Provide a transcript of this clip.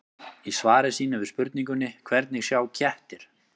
Í svari sínu við spurningunni Hvernig sjá kettir?